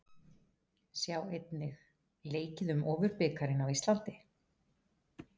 Sjá einnig: Leikið um Ofurbikarinn á Íslandi?